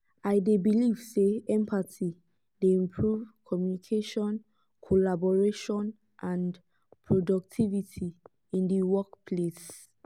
i dey believe say empathy dey improve communication collaboration and productivity in di workplace.